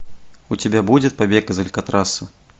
у тебя будет побег из алькатраса